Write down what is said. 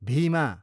Bhima